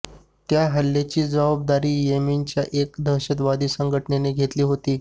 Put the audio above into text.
त्या हल्ल्याची जबाबदारी येमेनच्या एका दहशतवादी संघटनेनं घेतली होती